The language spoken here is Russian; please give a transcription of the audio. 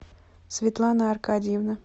светлана аркадьевна